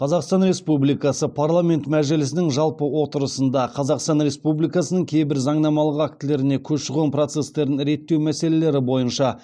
қазақстан республикасы парламенті мәжілісінің жалпы отырысында қазақстан республикасының кейбір заңнамалық актілеріне көші қон процестерін реттеу мәселелері бойынша